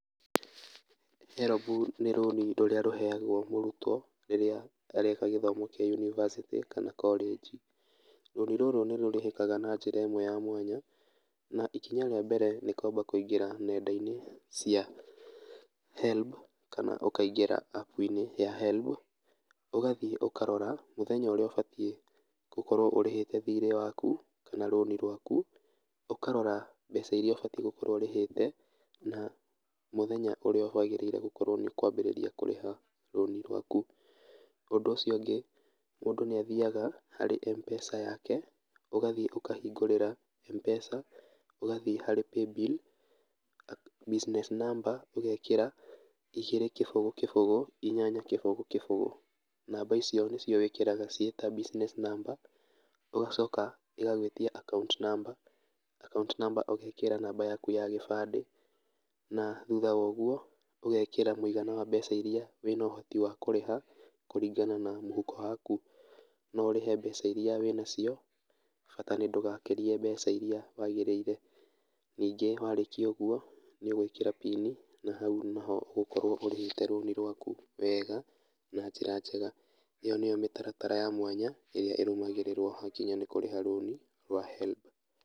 HELB ní rũni rũrĩa rũheagwo mũrutwo rĩrĩa areka gĩthomo kĩa yunivasĩtĩ kana korĩnji, rũni rũrũ nĩrũrĩhĩkaga na njĩra ĩmwe ya mwanya, na ikinya rĩa mbere nĩ kwamba kũingĩra nenda-inĩ cia HELB kana ũkaingĩra app inĩ ya HELB ũgathi ũkarora mũthenya ũrĩa ũbatiĩ kúkorwo ũrĩhĩte thirĩ waku kana rũni rwaku, ũkarora mbeca iria ũbatiĩ gũkorwo ũrĩhĩte, na mũthenya ũrĩa wagĩrĩire gũkorwo nĩ kwambĩrĩria kũrĩha rũni rwaku, ũndũ ũcio ũngĩ, mũndũ nĩathiaga harĩ Mpesa yake, ũgathi ũkahingũrĩra Mpesa, ũgathi harĩ paybill, business number ũgekĩra, igĩrĩ kĩbũgũ kĩbũgũ, inyanya kĩbũgũ kĩbũgũ, namba icio nĩcio wĩkĩraga ciĩ ta business number, ũgacoka ĩgagwĩtia account number, account number ũgekĩra namba yaku ya gĩbandĩ, na thutha wa ũguo, ũgekĩra mũigana wa mbeca iria wĩna ũhoti wa kũrĩha kũringana na mũhuko waku, noũrĩhe mbeca iria wĩnacio bata nĩ ndũgakĩrie mbeca iria wagĩrĩire, ningĩ warĩkia ũguo, nĩũgwĩkĩra pini, na hau nĩguo ũgũkorwo ũrĩhĩte rũni rwaku wega na njĩra njega, ĩyo níyo mĩtaratara ya mwanya ĩrĩa ĩrũmagĩrĩrwo gwakinya nĩkũrĩha rũni rwa HELB.